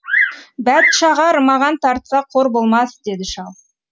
бәтшағар маған тартса қор болмас деді шал